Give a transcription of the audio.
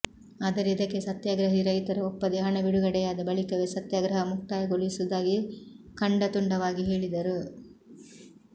ಆದರೆ ಇದಕ್ಕೆ ಸತ್ಯಾಗ್ರಹಿ ರೈತರು ಒಪ್ಪದೇ ಹಣ ಬಿಡುಗಡೆಯಾದ ಬಳಿಕವೇ ಸತ್ಯಾಗ್ರಹ ಮುಕ್ತಾಯಗೊಳಿಸುವುದಾಗಿ ಖಂಡತುಂಡವಾಗಿ ಹೇಳಿದರು